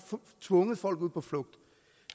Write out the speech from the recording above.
tvunget folk ud på flugt